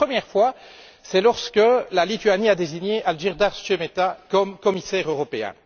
La première fois c'est lorsque la Lituanie a désigné Algirdas Šemeta comme commissaire européen.